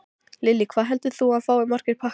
Lillý: Hvað heldurðu að þú fáir marga pakka?